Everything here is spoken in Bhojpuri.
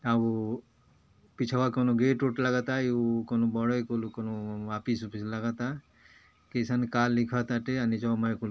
का हों पिछवा कौनों गेट वेट लागता कौनों बड़े के ऑफिस वाफिस लागत बा कईसन का लिखत बाटे नीचवा मय कुल--